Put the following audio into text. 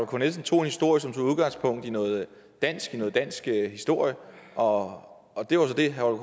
k nielsen tog udgangspunkt i noget dansk noget dansk historie og det var så det herre